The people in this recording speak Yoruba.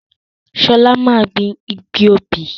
Sola máa gbìn igi obì